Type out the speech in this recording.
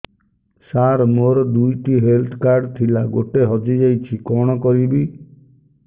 ସାର ମୋର ଦୁଇ ଟି ହେଲ୍ଥ କାର୍ଡ ଥିଲା ଗୋଟେ ହଜିଯାଇଛି କଣ କରିବି